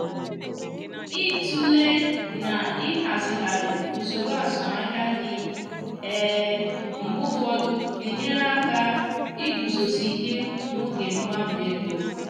ị tụlee na ịhazigharị usoro azụmahịa gị mgbe ụfọdụ na enyere aka iguzosi ike n’oge mgbanwe ego